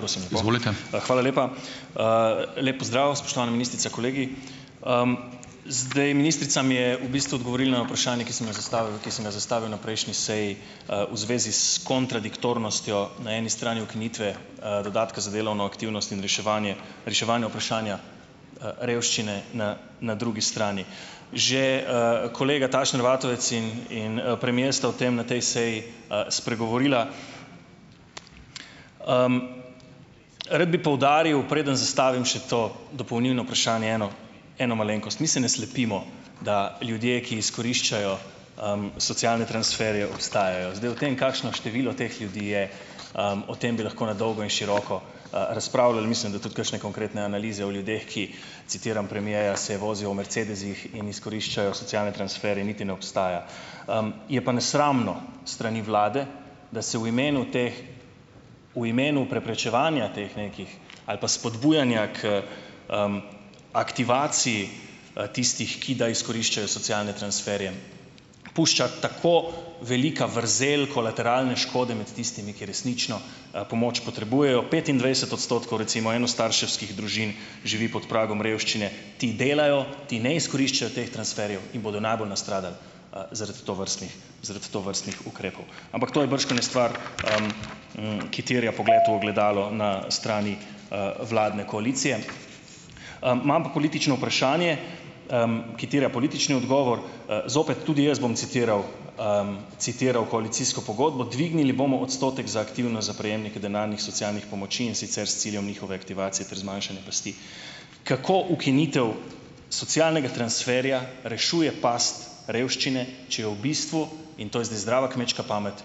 hvala lepa. lep pozdrav, spoštovana ministrica, kolegi. zdaj, ministrica mi je v bistvu odgovorila na vprašanje, ki sem ga zastavil, ki sem ga zastavil na prejšnji seji, v zvezi s kontradiktornostjo na eni strani ukinitve, dodatka za delovno aktivnost in reševanje, reševanje vprašanja, revščine na na drugi strani. Že, kolega Tašner Vatovec in, in, premier sta v tem, na tej seji, spregovorila. rad bi poudaril, preden zastavim še to dopolnilno vprašanje eno, eno malenkost. Mi se ne slepimo, da ljudje, ki izkoriščajo, socialne transferje obstajajo. Zdaj, kakšno število teh ljudi je, o tem bi lahko na dolgo in široko, razpravljali. Mislim, da tudi kakšne konkretne analize o ljudeh, ki, citiram premierja, "se vozijo v mercedesih in izkoriščajo socialne transferje", niti ne obstaja. je pa nesramno s strani vlade, da se v imenu teh, v imenu preprečevanja teh nekih, ali pa spodbujanja k, aktivaciji, tistih, ki da izkoriščajo socialne transferje, pušča tako velika vrzel kolateralne škode med tistimi, ki resnično, pomoč potrebujejo. Petindvajset odstotkov recimo enostarševskih družin živi pod pragom revščine. Ti delajo, ti ne izkoriščajo teh transferjev in bodo najbolj nastradali, zaradi tovrstnih, zaradi tovrstnih ukrepov. Ampak to je bržkone stvar, ki terja pogled v ogledalo na strani, vladne koalicije. imam pa politično vprašanje, ki terja politični odgovor. zopet, tudi jaz bom citiral, citiral koalicijsko pogodbo, dvignili bomo odstotek za aktivnost za prejemnike denarnih socialnih pomoči, in sicer s ciljem njihove aktivacije ter zmanjšanje pasti. Kako ukinitev socialnega transferja rešuje pasti revščine, če je v bistvu, in to je zdaj zdrava kmečka pamet,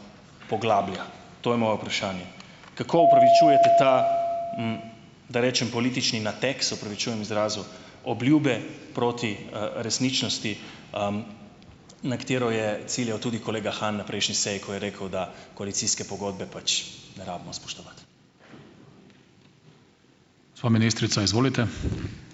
poglablja. To je moje vprašanje. Kako opravičujete ta , da rečem, politični nateg, se opravičujem izrazu, obljube proti, resničnosti, na katero je ciljal tudi kolega Han na prejšnji seji, ko je rekel, da koalicijske pogodbe pač ne rabimo spoštovati. Gospa ministrica, izvolite.